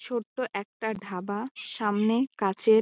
ছোট্টো একটা ধাবা। সামনে কাঁচের--